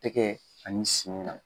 Tɛkɛ ani senw na.